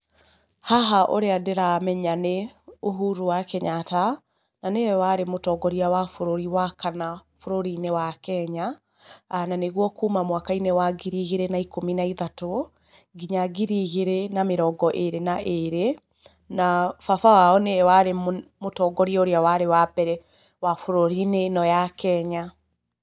Haha ũrĩa ndĩramenya nĩ Uhuru wa Kenyatta, na nĩwe warĩ mũtũngoria wa bũrũri wa Kanna bũrũrinĩ wa Kenya, na nĩguo kuma mwaka-inĩ wa ngiri igĩrĩ na ikũmi na ithatũ nginya ngiri igĩrĩ na mĩrongo ĩrĩ na ĩrĩ, na baba wao nĩwe arĩ mũtongoria ũrĩa warĩ wa mbere wa bũrũrinĩ ũyũ wa Kenya.